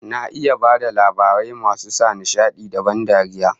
Na iya bada labarai masu sa nishadi da ban dariya